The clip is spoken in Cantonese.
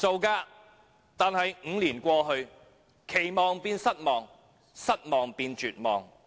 可是 ，5 年過去，期望變失望，失望變絕望。